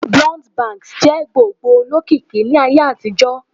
Blunt bangs jẹ gbogbo olokiki ni Aye àtijó